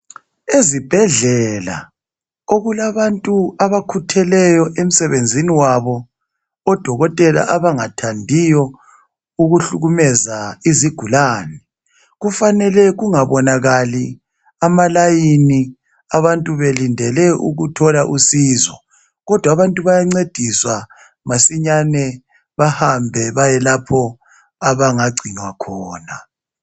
Ezibhedlela okulabantu abakhutheleyo emsebenzini wabo, odokotela abangathandiyo ukuhlukumeza izigulane, kufanele kungabonakali amalayini abantu belindele ukuthola usizo, kodwa abantu bayancediswa masinyane bahambe bayelapho abangagcinwa khona